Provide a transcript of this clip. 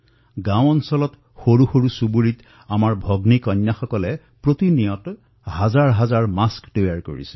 গাঁৱত সৰু চহৰত আমাৰ ভগ্নীকন্যাসকলে প্ৰতিদিনে সহস্ৰাধিক মাস্ক প্ৰস্তুত কৰিছে